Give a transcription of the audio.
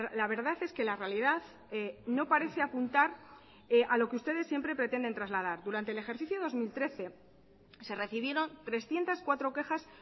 la verdad es que la realidad no parece apuntar a lo que ustedes siempre pretenden trasladar durante el ejercicio dos mil trece se recibieron trescientos cuatro quejas